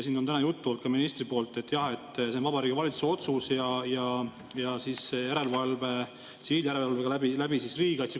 Siin on täna olnud juttu ka ministri poolt, et jah, on Vabariigi Valitsuse otsust ja tsiviiljärelevalve on riigikaitsekomisjoni olemas.